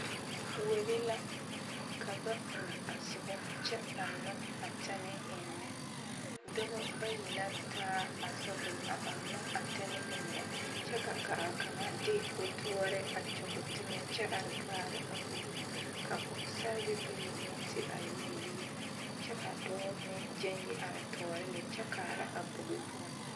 Kuori la ka ba uu a soba kyɛ ɔŋnɔ a tɛnɛɛ eŋnɛ dɔba bayi la taa a shovel a ɔŋnɔ a tɛnɛɛ eŋnɛ kyɛ ka a kaŋa de toɔre a kyɔge teŋɛ kyɛ are kaara ka a bogi ka pɔgesare bayi meŋ ti are yelle yɛlɛ kyɛ ka dɔɔ meŋ gyɛŋ yi are tɔɔre lɛ kyɛ kaara a bogi poɔ.